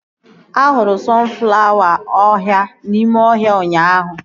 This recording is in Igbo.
Ahụrụ sọnflawa ọhịa n'ime ọhịa ụnyaahụ